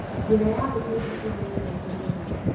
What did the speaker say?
Njĩra ya gũthiĩ cukuru nĩ ndaihu mũno.